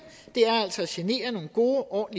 er altså at genere nogle gode og